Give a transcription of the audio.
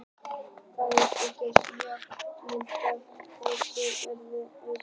Raddbreytingin getur gerst mjög skyndilega og verið vandræðaleg þegar röddin gefur sig á óþægilegum augnablikum.